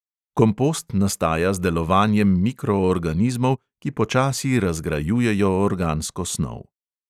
Kompost nastaja z delovanjem mikroorganizmov, ki počasi razgrajujejo organsko snov.